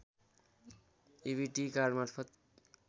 EBIT कार्डमार्फत